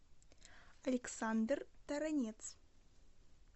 александр таранец